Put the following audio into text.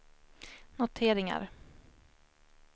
noteringar